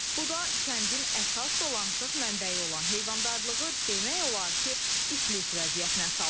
Bu da kəndin əsas dolanışıq mənbəyi olan heyvandarlığı demək olar ki, iflic vəziyyətinə salıb.